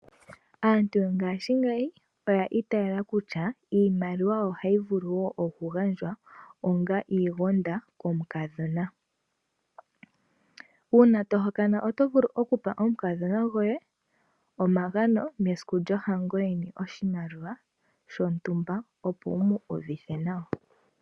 Aantu yongashingeyi oya itayela kutya iimaliwa ohayi vulu wo okugandjwa onga iigonda komukadhona. Uuna tohokana otovulu okupa omukadhona gwoye omagano mesiku lyohango yeni oshimaliwa shontumba opo wumu uvithe nawa.